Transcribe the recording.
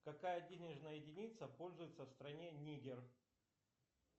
какая денежная единица пользуется в стране нигер